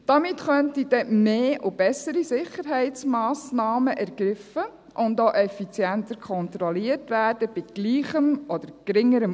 Damit könnten dann mehr und bessere Sicherheitsmassnahmen bei gleichem oder geringerem Aufwand ergriffen und auch effizient kontrolliert werden.